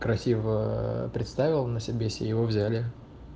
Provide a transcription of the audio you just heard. красиво ээ представилась на себе и его взяли